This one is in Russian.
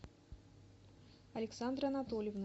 александры анатольевны